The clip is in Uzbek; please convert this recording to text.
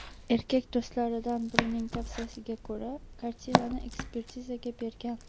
Erkak do‘stlaridan birining tavsiyasiga ko‘ra, kartinani ekspertizaga bergan.